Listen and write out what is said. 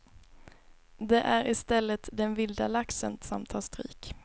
Det är i stället den vilda laxen som tar stryk.